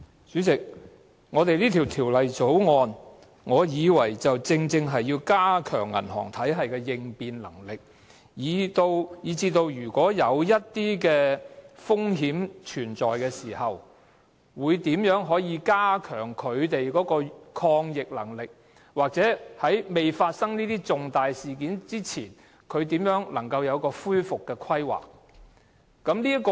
主席，《條例草案》正是要加強銀行體系的應變能力，包括在體系出現風險的時候，如何加強抗逆能力，或在重大事件發生前，如何擬定一套恢復計劃。